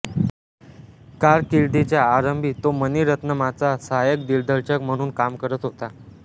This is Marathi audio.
कारकिर्दीच्या आरंभी तो मणिरत्नमाचा सहायक दिग्दर्शक म्हणून काम करत होता